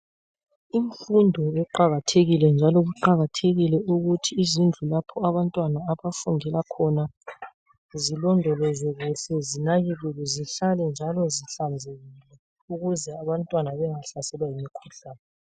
Imfundo iqakathekile njalo kuqakathekile ukuthi izindlu lapho abantwana abafundela khona zilondolozwe kuhle zinakekelwe zihlale njalo zihlanzekile ukuze abntwana bengahlasela yimikhuhlane